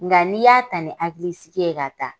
Nga n'i y'a ta ni hakili sigi ye ka taa.